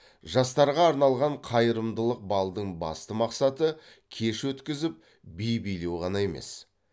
жастарға арналған қайырымдылық балдың басты мақсаты кеш өткізіп би билеу ғана емес